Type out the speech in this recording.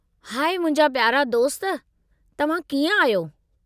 High मुंहिंजा प्यारा दोस्त , तव्हां कीअं आहियो?